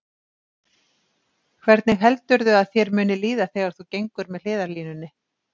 Hvernig heldurðu að þér muni líða þegar þú gengur með hliðarlínunni?